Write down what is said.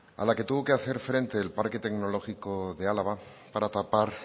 a la que tuvo que hacer frente el parque tecnológico de álava para tapar